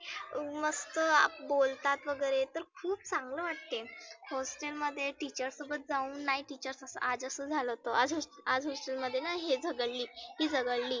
मस्त बोलतात वगैरे तर खुप चांगलं वाटते. hostel मध्ये teacher सोबत जाऊन नाही teacher आज असं झालं होतं. आज hostel मध्येना ही झगडली ती झगडली.